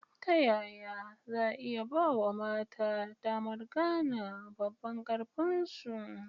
Ta yaya za a iya ba wa mata damar gane babban ƙarfinsu?